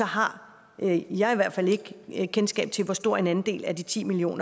har jeg i hvert fald ikke kendskab til hvor stor en andel af de ti million